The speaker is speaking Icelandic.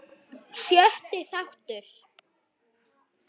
Sjötti þáttur